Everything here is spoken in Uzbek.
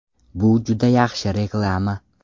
Bu juda yaxshi reklama.